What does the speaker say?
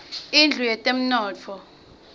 indlu yetemnotfo